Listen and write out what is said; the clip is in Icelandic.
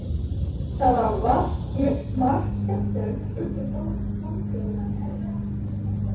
Það valt margt skemmtilegt upp úr frambjóðendum.